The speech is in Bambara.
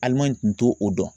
kun te o dɔn.